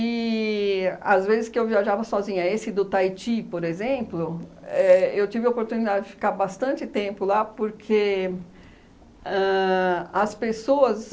às vezes que eu viajava sozinha, esse do Taiti, por exemplo, éh eu tive a oportunidade de ficar bastante tempo lá porque ãh as pessoas...